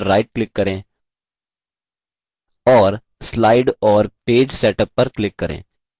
context menu के लिए slide पर right click करें और slide और page setup पर click करें